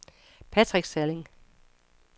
Patrick Salling